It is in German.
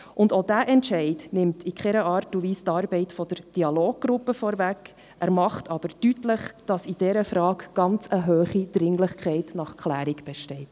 Und auch dieser Entscheid nimmt in keiner Art und Weise die Arbeit der Dialoggruppe vorweg, er macht aber deutlich, dass in dieser Frage eine ganz hohe Dringlichkeit nach Klärung besteht.